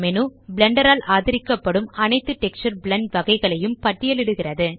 Blender ஆல் ஆதரிக்கப்படும் அனைத்து டெக்ஸ்சர் பிளெண்ட் வகைகளையும் பட்டியலிடுகிறது